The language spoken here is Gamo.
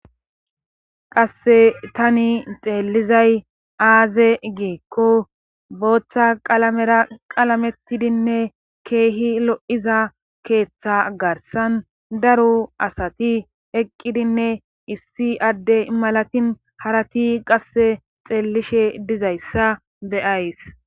qase tani xeellizay aaze giikko booththa qalamera qalametidinne keehi lo'za keeththa garsan daru asati eqqidinne issi adde malatin harati qasse xeellishe dizayssa beyays.